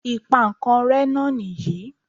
Ìpankanré náà nìyí